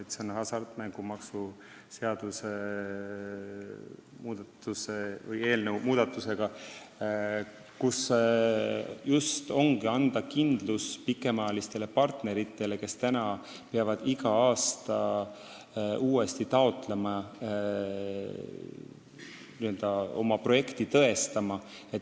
Just hasartmängumaksu seaduse muudatusega antakse kindlus pikemaajalistele partneritele, kes peavad praegu iga aasta uuesti taotluse tegema, oma projekti tõestama.